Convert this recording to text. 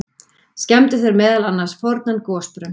Skemmdu þeir meðal annars fornan gosbrunn.